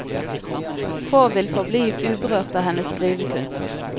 Få vil forbli uberørt av hennes skrivekunst.